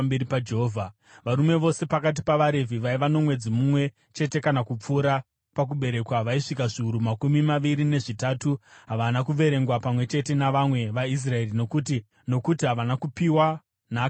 Varume vose pakati pavaRevhi, vaiva nomwedzi mumwe chete kana kupfuura pakuberekwa vaisvika zviuru makumi maviri nezvitatu. Havana kuverengwa pamwe chete navamwe vaIsraeri nokuti havana kupiwa nhaka pakati pavo.